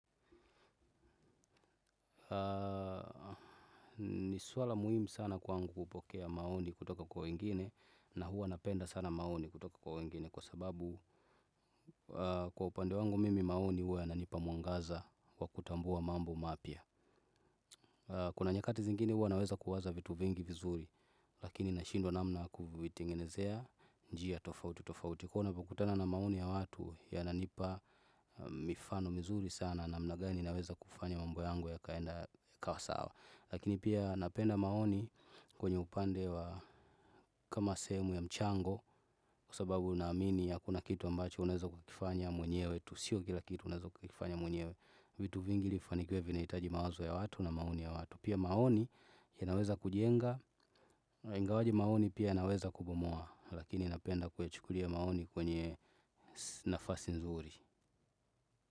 Ni swala muhimu sana kwangu kupokea maoni kutoka kwa wengine. Na huwa napenda sana maoni kutoka kwa wengine. Kwa sababu kwa upande wangu mimi maoni huwa yananipa mwangaza kwa kutambua mambo mapya. Kuna nyakati zingine huwa naweza kuwaza vitu vingi vizuri. Lakini na shindwa namna kuvitengenezea njia tofauti tofauti. Kwa hio navyo kutana na maoni ya watu yananipa mifano mizuri sana. Namna gani naweza kufanya mambo yangu ya kaenda ikawa sawa. Lakini pia napenda maoni kwenye upande wa kama sehemu ya mchango kusababu naamini hakuna kitu ambacho unaezo kukifanya mwenye wetu. Sio kila kitu unaezo kukifanya mwenyewe vitu vingi ili fanikiwe vinaitaji mawazo ya watu na maoni ya watu. Pia maoni yanaweza kujienga, ingawaje maoni pia yanaweza kubomua lakini napenda kuyachukulia maoni kwenye nafasi nzuri.